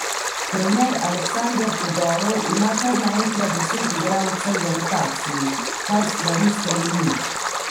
Trener Aleksandar Todorov ima kar naenkrat deset igralcev v rotaciji, kar stvari spremeni.